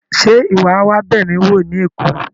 Ṣe iwọ a wa b'emi wo ni Èkó?